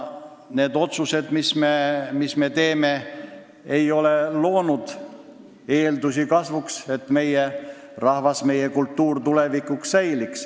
Need otsused, mis me oleme teinud, ei ole loonud eeldusi kasvuks, et meie rahvas ja meie kultuur tulevikus säiliks.